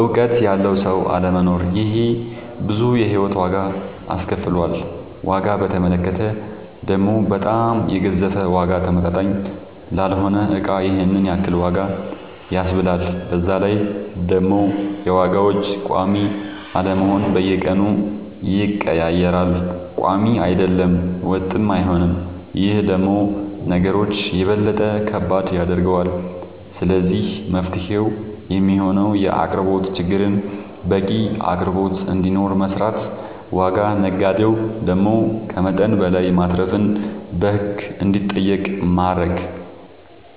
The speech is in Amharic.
እውቀት ያለው ሰው አለመኖር ይሄ ብዙ የሂወት ዋጋ አስከፍሎል ዋጋ በተመለከተ ደሞ በጣም የገዘፈ ዋጋ ተመጣጣኝ ላልሆነ እቃ ይሄንን ያክል ዋጋ ያስብላል በዛላይ ደሞ የዋጋዎች ቆሚ አለመሆን በየቀኑ ይቀያየራል ቆሚ አይደለም ወጥም አይሆንም ይሄ ደሞ ነገሮች የበለጠ ከባድ ያደርገዋል ስለዚህ መፍትሄው የሚሆነው የአቅርቦት ችግርን በቂ አቅርቦት እንዲኖር መስራት ዋጋ ነጋዴው ደሞ ከመጠን በላይ ማትረፍን በህግ እንዲጠየቅ ማረግ